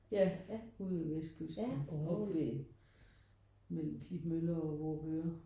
Ja ude ved vestkysten og oppe ved mellem Klitmøller og Vorupør